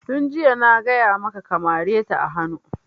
Tun jiya na gaya maka ka mare ta a hanu!